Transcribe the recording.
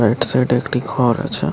এক সাইড -এ একটি ঘর আছে।